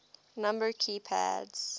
number key pads